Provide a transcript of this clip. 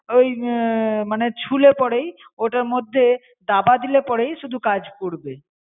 ওই মানে ছুলে পরেই ওটার মধ্যে দাবা দিলে পরেই শুধু কাজ করবে